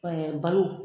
Ɛɛ balo